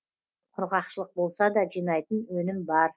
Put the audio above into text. құрғақшылық болса да жинайтын өнім бар